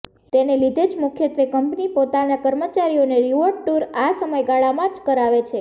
તેને લીધે જ મુખ્યત્વે કંપની પોતાનાં કર્મચારીઓને રિવોર્ડ ટુર આ સમયગાળામાં જ કરાવે છે